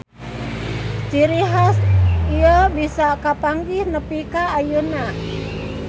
Ciri has ieu bisa kapanggih nepi ka ayeuna.